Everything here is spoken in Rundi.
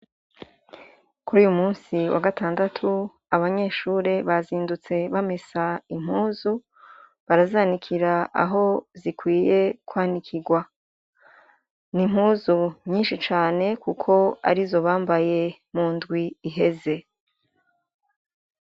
Kuruyumusi w'agatandatu abanyeshure bazindutse bamesa impuzu ,barazanikira aho zikwiye kwanikirwa n'impuzu nyishi cane kuko arizo bambaye mundwi iheze.